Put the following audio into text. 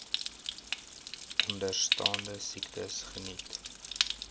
onderstaande siektes geniet